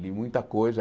Li muita coisa.